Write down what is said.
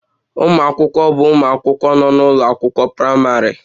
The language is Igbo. Ụmụ akwụkwọ bụ ụmụ akwụkwọ nọ n'ụlọ akwụkwọ praịmarị